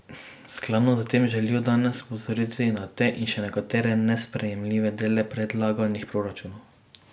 Skladno s tem želijo danes opozoriti na te in še nekatere nesprejemljive dele predlaganih proračunov.